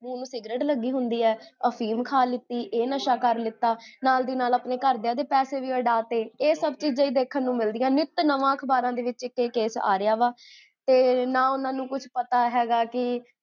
ਮੂਹ ਨੂ ਸਿਗਰੇਟ ਲੱਗੀ ਹੁੰਦੀ ਹੈ, ਅਫੀਮ ਖਾਲਿੱਤੀ, ਇਹ ਨਸ਼ਾ ਕਰ੍ਲਿਤਾ, ਨਾਲ ਦੀ ਨਾਲ ਆਪਣੇ ਘਰਦੇ ਪੈਸੇ ਵੀ ਉਡਾ ਤੇ, ਇਹ ਸਬ ਚੀਜ਼ਾਂ ਦੇਖਣ ਨੂੰ ਮਿਲਦੀਆਂ ਨੇ, ਨਿਤ ਨਵਾਂ ਅਖਬਾਰਾਂ ਦੇ ਵਿੱਚ ਕੈਸੇ ਆਰੇਹਾ ਵਾ, ਤੇ ਨਾ ਓਨਾ ਨੂ ਕੁਛ ਪਤਾ ਹੈਗਾ ਕੀ